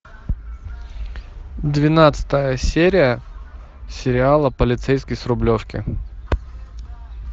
двенадцатая серия сериала полицейский с рублевки